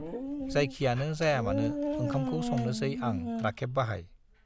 जायखियानो जायामानो ओंखामखौ संनोसै आं राखेब बाहाइ।